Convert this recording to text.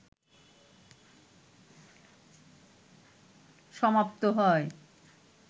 সমাপ্ত হয়